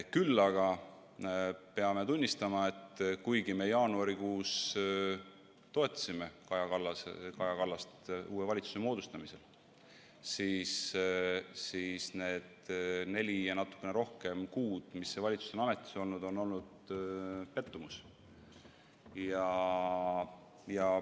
Küll aga peame tunnistama, et kuigi me jaanuarikuus toetasime Kaja Kallast uue valitsuse moodustamisel, siis need neli ja natukene rohkem kuud, mis see valitsus on ametis olnud, on valmistanud pettumuse.